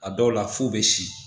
A dɔw la f'u bɛ si